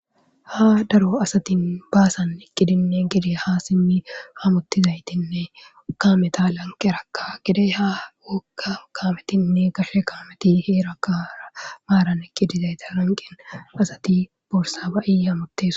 Ha daro asati basan eqidine ha simi hamutizaytinne kameta lanqeraka gede ha woga kametinne gashe kameti heraka hara maran eqidi dizayta lanqen wazati borsa ba'i hamitosona